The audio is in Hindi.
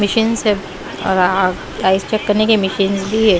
मशीनस है और आइस चेक करने की मशीनस भी है।